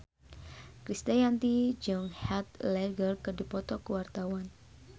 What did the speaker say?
Krisdayanti jeung Heath Ledger keur dipoto ku wartawan